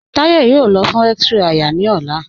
Táyọ̀ yóò lọ̀ fún x-ray àyà ni ọlá.